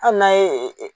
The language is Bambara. Hali n'a ye